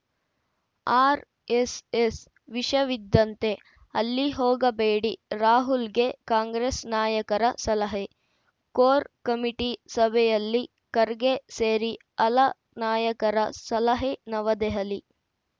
RSS ವಿಷವಿದ್ದಂತೆ ಅಲ್ಲಿ ಹೋಗಬೇಡಿ ರಾಹುಲ್‌ಗೆ ಕಾಂಗ್ರೆಸ್‌ ನಾಯಕರ ಸಲಹೆ ಕೋರ್‌ ಕಮಿಟಿ ಸಭೆಯಲ್ಲಿ ಖರ್ಗೆ ಸೇರಿ ಹಲ ನಾಯಕರ ಸಲಹೆ ನವದೆಹಲಿ